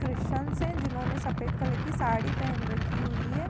Christians है जिन्होंने सफ़ेद कलर की साड़ी पेहेन रखी हुई है।